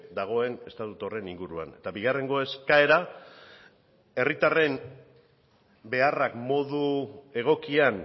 dagoen estatutu horren inguruan eta bigarrengo eskaera herritarren beharrak modu egokian